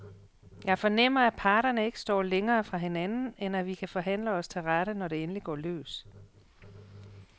Jeg fornemmer, at parterne ikke står længere fra hinanden, end at vi kan forhandle os til rette, når det endelig går løs.